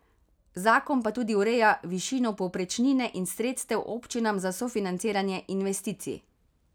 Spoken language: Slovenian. Zakon pa tudi ureja višino povprečnine in sredstev občinam za sofinanciranje investicij.